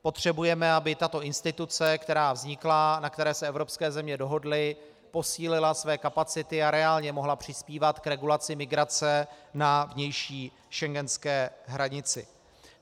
Potřebujeme, aby tato instituce, která vznikla, na které se evropské země dohodly, posílila své kapacity a reálně mohla přispívat k regulaci migrace na vnější schengenské hranici.